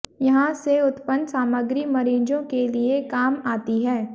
यहां से उत्पन्न सामग्री मरीजों के लिए काम आती है